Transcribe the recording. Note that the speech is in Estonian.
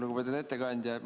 Lugupeetud ettekandja!